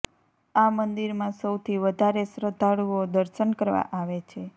આ મંદિરમાં સૌથી વધારે શ્રદ્ધાળુંઓ દર્શન કરવા આવે છે